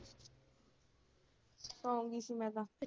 ਸੌਂਗੀ ਸੀ ਮੈਂ ਤਾਂ।